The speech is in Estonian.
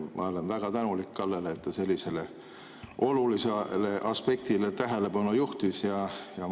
Ma olen väga tänulik Kallele, et ta sellisele olulisele aspektile tähelepanu juhtis.